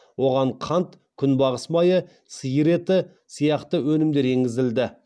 оған қант күнбағыс майы сиыр еті сияқты өнімдер енгізілді